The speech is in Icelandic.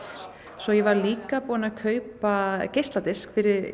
svo ég var líka búin að kaupa geisladisk fyrir